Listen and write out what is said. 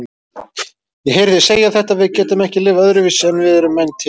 Ég heyri þig segja þetta: Við getum ekki lifað öðruvísi en við erum menn til